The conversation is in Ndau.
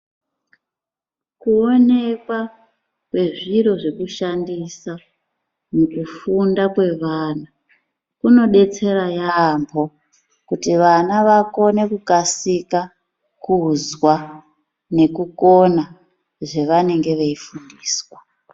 Kuonekwa kwezviro zvekushandisa mukufunda kwevana kunodetsera yaambo kuti vana vakone kukumasika kuzwa nekukona zvavanenge veifundiswa.